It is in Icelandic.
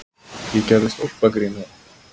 Ég gerði stólpagrín að